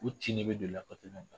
U cin ne bɛ